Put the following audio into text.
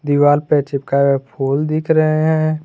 दीवार पर चिपकाए फुल दिख रहे हैं।